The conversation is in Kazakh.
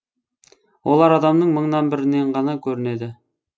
олар адамның мыңнан бірінен ғана көрінеді